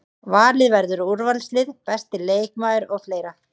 Valið verður úrvalslið, besti leikmaður og fleira.